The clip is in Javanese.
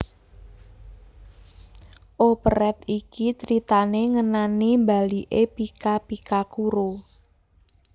Operet iki critané ngenani mbaliké Pika Pika Kuro